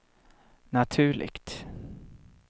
naturligt